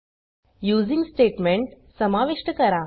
using statement समाविष्ट करा